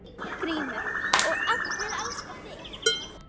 GRÍMUR: Og allir elska þig.